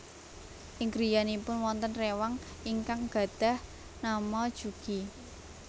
Ing griyanipun wonten réwang ingkang gadhah nama Jugi